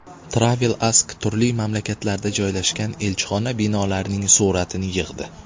Travel Ask turli mamlakatlarda joylashgan elchixona binolarining suratini yig‘di.